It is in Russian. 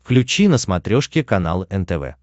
включи на смотрешке канал нтв